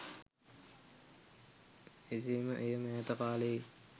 එසේ ම එය මෑත කාලයේ